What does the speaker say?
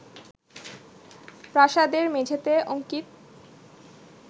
প্রাসাদের মেঝেতে অঙ্কিত